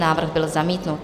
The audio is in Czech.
Návrh byl zamítnut.